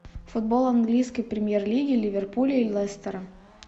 футбол английской премьер лиги ливерпуля и лестера